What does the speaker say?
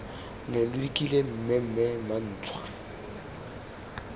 ne lo dikile mmemme mantšwa